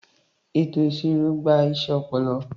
Ètò ìṣirò gba iṣẹ́ ọpọlọ.